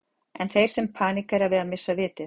Eru þeir sem paníkera að missa vitið?